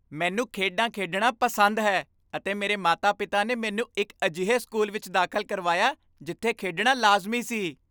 ਮੈਨੂੰ ਖੇਡਾਂ ਖੇਡਣਾ ਪਸੰਦ ਹੈ ਅਤੇ ਮੇਰੇ ਮਾਤਾ ਪਿਤਾ ਨੇ ਮੈਨੂੰ ਇੱਕ ਅਜਿਹੇ ਸਕੂਲ ਵਿੱਚ ਦਾਖ਼ਲ ਕਰਵਾਇਆ ਜਿੱਥੇ ਖੇਡਣਾ ਲਾਜ਼ਮੀ ਸੀ